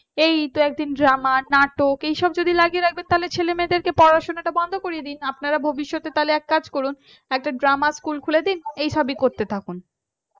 এইতো একদিন drama নাটক তো এইসব যদি লাগিয়ে রাখবেন ছেলেমেয়েদেরকে পড়াশোনাটা বন্ধ করে দেন আপনারা ভবিষ্যতে তাহলে একটা কাজ করুন একটা drama school খুলে দেন এই সবই করতে থাকুন